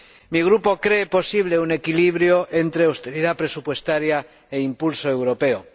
Mi Grupo cree posible un equilibrio entre austeridad presupuestaria e impulso europeo.